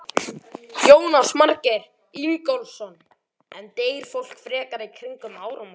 Jónas Margeir Ingólfsson: En deyr fólk frekar í kringum áramótin?